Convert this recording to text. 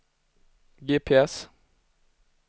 GPS